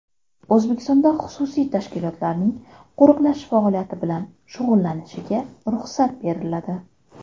O‘zbekistonda xususiy tashkilotlarning qo‘riqlash faoliyati bilan shug‘ullanishiga ruxsat beriladi.